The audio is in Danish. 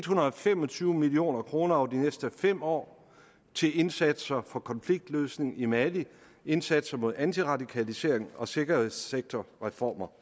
hundrede og fem og tyve million kroner over de næste fem år til indsatser for konfliktløsning i mali indsatser mod antiradikalisering og sikkerhedssektorreformer